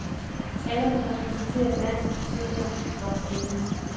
Teateret præsenterer dans på søndag klokken elleve.